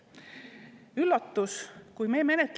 Üllatus!